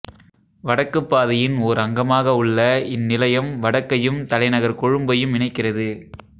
வடக்குப் பாதையின் ஓர் அங்கமாக உள்ள இந்நிலையம் வடக்கையும் தலைநகர் கொழும்பையும் இணைக்கிறது